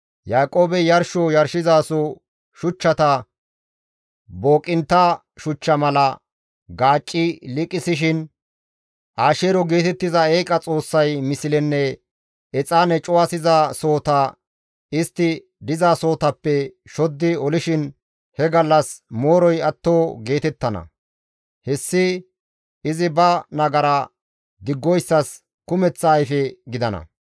Yaaqoobey yarsho yarshizaso shuchchata booqintta shuchcha mala gaacci liiqisishin Asheero geetettiza eeqa xoossay mislenne exaane cuwasiza sohota istti dizasohotappe shoddi olishin he gallas mooroy atto geetettana; hessi izi ba nagara diggoyssas kumeththa ayfe gidana.